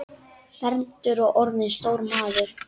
Fermdur og orðinn stór maður.